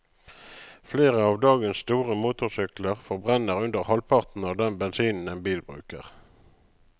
Flere av dagens store motorsykler forbrenner under halvparten av den bensinen en bil bruker.